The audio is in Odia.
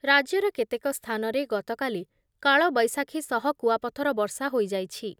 ରାଜ୍ୟର କେତେକ ସ୍ଥାନରେ ଗତକାଲି କାଳବୈଶାଖୀ ସହ କୁଆପଥର ବର୍ଷା ହୋଇ‌ଯାଇଛି ।